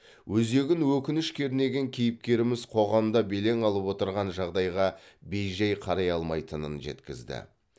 өзегін өкініш кернеген кейіпкеріміз қоғамда белең алып отырған жағдайға бей жай қарай алмайтынын жеткізді